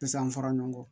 Pise an fara ɲɔgɔn kɔ